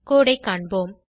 கோடு ஐ காண்போம்